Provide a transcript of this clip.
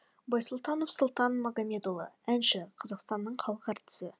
байсұлтанов сұлтан магамедұлы әнші қазақстанның халық әртісі